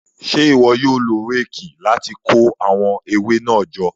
Ṣe iwọ yóò lo réèkì láti ko awọn ewe náà jọ?